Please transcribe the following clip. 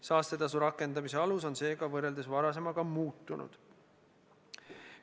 Saastetasu rakendamise alus on seega võrreldes varasemaga muutunud.